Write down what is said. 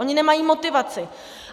Oni nemají motivaci.